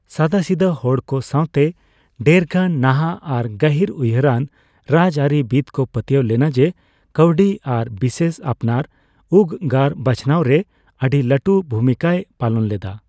ᱥᱟᱫᱟᱥᱤᱫᱟᱹ ᱦᱚᱲᱠᱚ ᱥᱟᱣᱛᱮ ᱰᱷᱮᱨᱜᱟᱱ ᱱᱟᱦᱟᱜ ᱟᱨ ᱜᱟᱹᱦᱤᱨ ᱩᱭᱦᱟᱹᱨᱟᱱ ᱨᱟᱡᱽᱟᱹᱨᱤ ᱵᱤᱫ ᱠᱚ ᱯᱟᱹᱛᱭᱟᱹᱣ ᱞᱮᱱᱟ ᱡᱮ ᱠᱟᱹᱣᱰᱤ ᱟᱨ ᱵᱤᱥᱮᱥ ᱟᱯᱱᱟᱨ ᱩᱜᱽᱜᱟᱹᱨ ᱵᱟᱪᱷᱱᱟᱣ ᱨᱮ ᱟᱹᱰᱤ ᱞᱟᱹᱴᱩ ᱵᱷᱩᱢᱤᱠᱟᱭ ᱯᱟᱞᱚᱱ ᱞᱮᱫᱟ ᱾